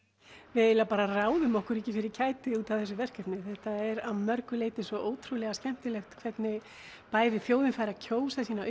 við ráðum okkur ekki fyrir kæti út af þessu verkefni þetta er að mörgu leyti svo ótrúlega skemmtilegt hvernig bæði þjóðin fær að kjósa sína